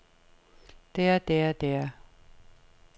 der der der